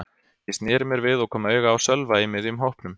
Ég sneri mér við og kom auga á Sölva í miðjum hópnum.